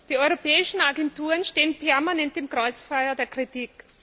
Die europäischen Agenturen stehen permanent im Kreuzfeuer der Kritik.